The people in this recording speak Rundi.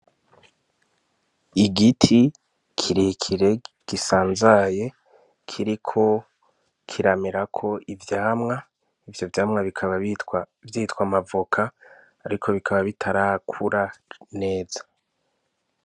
Igiti kirekire gisanzaye kiriko kiramerako ivyamwa ivyo vyamwa bikaba vyitwa amavoka ariko bikaba bitarakura neza